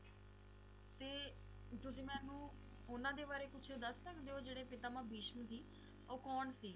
ਤੇ ਤੁਸੀ ਮੈਨੂੰ ਓਹਨਾ ਦੇ ਬਾਰੇ ਕੁਝ ਦਸ ਸਕਦੇ ਓ ਜਿਹੜੇ ਪਿਤਾਮਹ ਭੀਸ਼ਮ ਸੀ ਓਹ ਕੌਣ ਸੀ